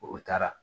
O taara